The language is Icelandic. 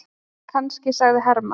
Kannski, sagði Hermann.